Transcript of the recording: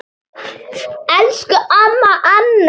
Elsku amma Anney.